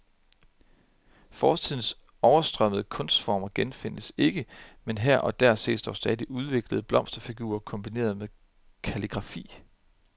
Fortidens overstrømmende kunstformer genfindes ikke, men her og der ses dog stadig udviklede blomsterfigurer kombineret med kalligrafi.